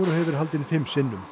hefur verið haldinn fimm sinnum